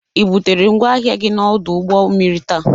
I butere ngwa ahịa gị n'ọdụ ụgbọ mmiri taa?